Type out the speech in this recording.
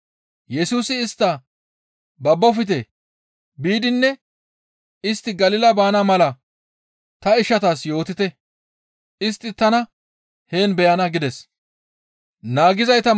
Yesusi istta, «Babbofte! Biidinne istti Galila baana mala ta ishatas yootite. Istti tana heen beyana» gides.